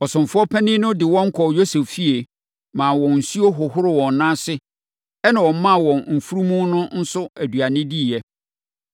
Ɔsomfoɔ panin no de wɔn kɔɔ Yosef fie, maa wɔn nsuo hohoroo wɔn nan ase, ɛnna ɔmaa wɔn mfunumu no nso aduane diiɛ.